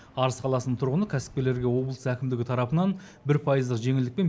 арыс қаласының тұрғыны кәсіпкерлерге облыс әкімдігі тарапынан бір пайыздық жеңілдікпен